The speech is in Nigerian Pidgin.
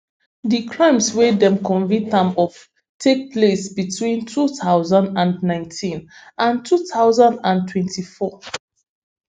di crimes wey dem convict am of take place between two thousand and nineteen and two thousand and twenty-four